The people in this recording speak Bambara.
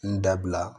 N dabila